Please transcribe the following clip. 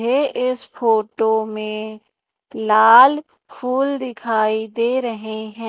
ये इस फोटो में लाल फूल दिखाई दे रहे हैं।